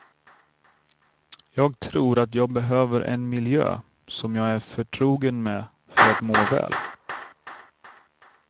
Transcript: Jag tror att jag behöver en miljö som jag är förtrogen med för att må väl.